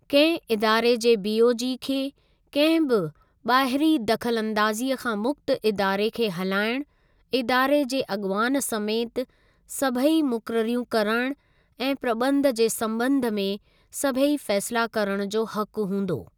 कंहिं इदारे जे बीओजी खे क॒हिं बि ॿाहिरीं दख़लअंदाजी़ं खां मुक्त इदारे खे हलाइण, इदारे जे अॻुवान समेति सभेई मुक़ररियूं करण ऐं प्रबंध जे सम्बंध में सभेई फ़ैसिला करण जो हकु हूंदो।